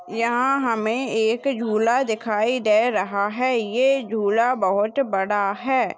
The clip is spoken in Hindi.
यहाँ हमें एक झूला दिखाई दे रहा है ये झूला बहुत बड़ा है।